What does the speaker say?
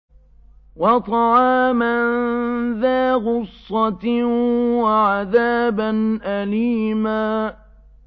وَطَعَامًا ذَا غُصَّةٍ وَعَذَابًا أَلِيمًا